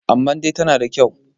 amma dai tana da kyau